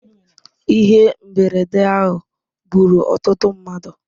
Ihe mberede ahụ gburu ọtụtụ mmadụ.